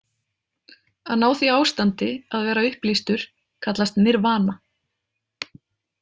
Að ná því ástandi, að vera upplýstur, kallast nirvana.